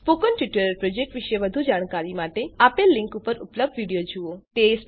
spoken tutorial project વિશે વધુ જાણકારી માટે આપેલ લીંક પર ઉપલબ્ધ વિડીયો જુઓ